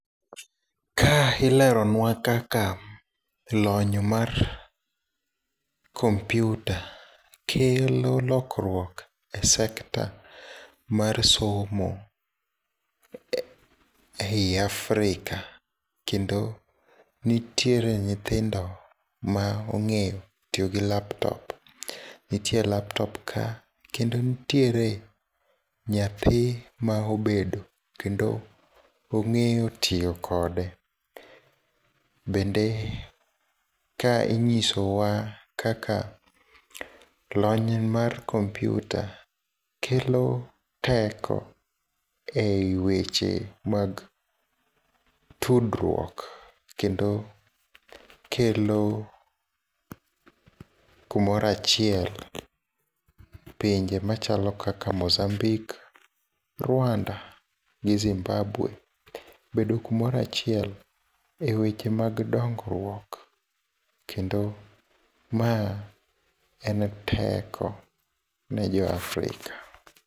Ka ileronwa kaka lony mar kompyuta kelo lokruok e sekta mar somo ei Africa kendo nitiere nyithindo maong'eyo tiyogi laptop. Ntiere laptop ka kendo ntiere nyathi maobedo, kendo ong'eyo tiyo kode. Bende ka ing'isowa kaka lony mar kompyuta kelo teko ei weche mag tudruok, kendo kelo kumora achiel pinje machalo kaka Mozambique, Rwanda gi Zimbabwe bedo kumora achiel e weche mag dongruok kendo ma en teko nejo Africa.